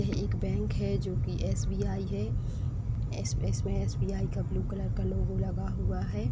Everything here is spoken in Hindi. यह एक बैंक है जो कि एसबीआई है। इस इसमें एसबीआई का ब्लू कलर का लोगो लगा हुआ है।